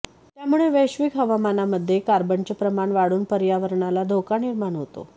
त्यामुळे वैश्विक हवामानामध्ये कार्बनचे प्रमाण वाढून पर्यावरणाला धोका निर्माण होतो